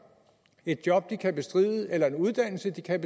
et job de kan bestride eller en uddannelse de kan